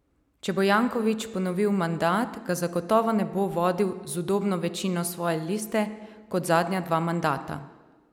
Če bo Janković ponovil mandat, ga zagotovo ne bo vodil z udobno večino svoje liste kot zadnja dva mandata.